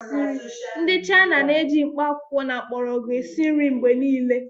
Ndị China na-eji mkpakwụkwọ na mgbọrọgwụ esi nri mgbe niile